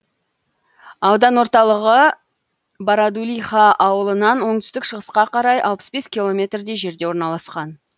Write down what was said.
аудан орталығы бородулиха ауылынан оңтүстік шығысқа қарай алпыс бес километрдей жерде орналасқан